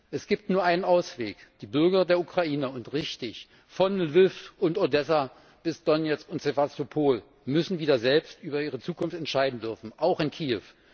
Es gibt nur einen Ausweg Die Bürger der Ukraine und richtig von Lwiw und Odessa bis Donezk und Sewastopol müssen wieder selbst über ihre Zukunft entscheiden dürfen, auch in Kiew.